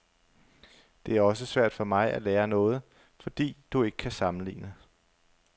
Det er også svært for mig at lære noget, fordi du ikke kan sammenligne.